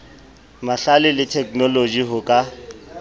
mahlale le theknoloji ho ka